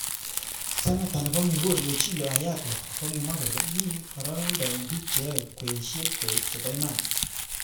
Senator nebo Migor Ochilo Ayako kokimwa kole mi kararindo eng bik cheyai kweishet koek chebo iman.